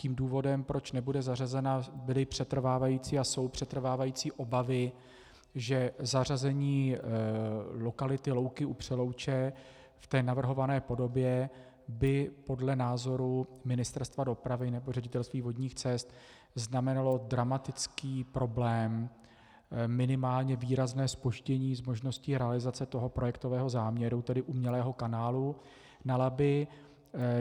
Tím důvodem, proč nebude zařazena, byly přetrvávající a jsou přetrvávající obavy, že zařazení lokality Louky u Přelouče v té navrhované podobě by podle názoru Ministerstva dopravy nebo Ředitelství vodních cest znamenalo dramatický problém, minimálně výrazné zpoždění s možností realizace toho projektového záměru, tedy umělého kanálu na Labi.